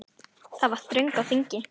Það var þröng á þingi.